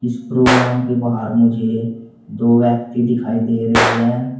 इस प्रोग्राम के बाहर मुझे दो व्यक्ति दिखाई दे रहे हैं।